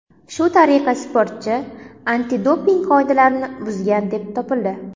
Shu tariqa sportchi antidoping qoidalarini buzgan deb topildi.